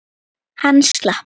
Hann slapp.